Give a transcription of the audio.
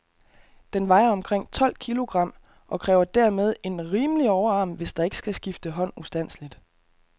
Den vejer omkring tolv kilogram, og kræver dermed en rimelig overarm, hvis der ikke skal skifte hånd ustandseligt.